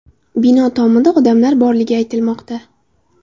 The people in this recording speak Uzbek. Bino tomida odamlar borligi aytilmoqda.